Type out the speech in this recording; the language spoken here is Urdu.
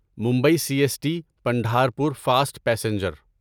Mumbai C S T Pandharpur fast passenger